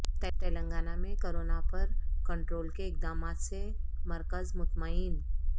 تلنگانہ میں کورونا پر کنٹرول کے اقدامات سے مرکز مطمئن